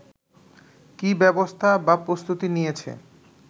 কি ব্যবস্থা বা প্রস্তুতি নিয়েছে